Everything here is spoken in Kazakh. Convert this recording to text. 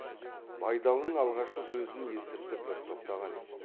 байдалының алғашқы сөзін естіртіп бір тоқтаған еді